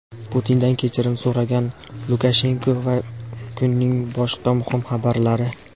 Putindan kechirim so‘ragan Lukashenko va kunning boshqa muhim xabarlari.